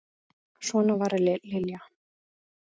Svona var Lilja.